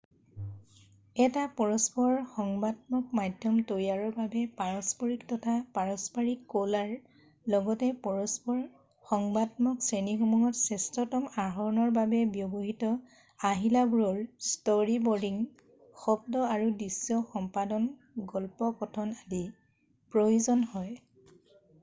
এটা পৰস্পৰ সংবাতত্মক মাধ্যম তৈয়াৰৰ বাবে পাৰস্পৰিক তথা পাৰম্পৰিক কলাৰ লগতে পৰস্পৰ সংবাতত্মক শ্ৰেণীসমূহত শ্ৰেষ্ঠতত্ব আহৰণৰ বাবে ব্যৱহৃত আহিলাবোৰৰ ষ্টৰিবৰ্ডিং শব্দ আৰু দৃশ্য সম্পাদন গল্প কথন আদি প্ৰয়োজন হয় ।